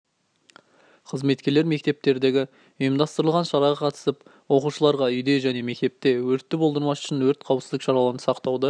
қызметкерлер мектептердегі ұйымдастырылған шараға қатысып оқушыларға үйде және мектепте өртті болдырмас үшін өрт қауіпсіздік шараларын сақтауды